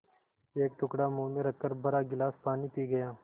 एक टुकड़ा मुँह में रखकर भरा गिलास पानी पी गया